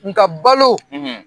Nka ka balo